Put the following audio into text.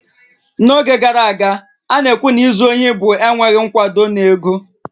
N'oge gara aga, a na-ekwu na izu ohi bụ enweghị nkwado na ego